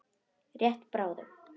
Rétt bráðum.